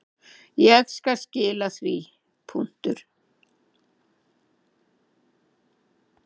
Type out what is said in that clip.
Ég skal skila því.